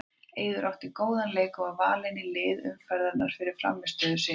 Eiður átti góðan leik og var valinn í lið umferðarinnar fyrir frammistöðu sína.